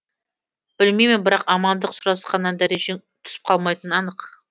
білмеймін бірақ амандық сұрасқаннан дәрежең түсіп қалмайтыны анық